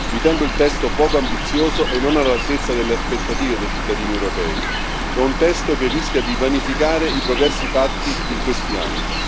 Ritengo il testo poco ambizioso e non all'altezza delle aspettative dei cittadini europei. È un testo che rischia di vanificare i progressi fatti in questi anni.